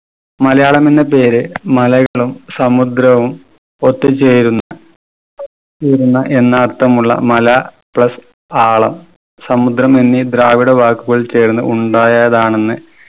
മലയാളം എന്ന പേര് മലകളും സമുദ്രവും ഒത്തുചേർന്ന് ചേരുന്ന എന്ന് അർഥമുള്ള മല plus ആളം സമുദ്രം എന്നീ ദ്രാവിഡ വാക്കുകൾ ചേർന്ന് ഉണ്ടായതാണെന്ന്